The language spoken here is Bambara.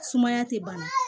Sumaya tɛ bana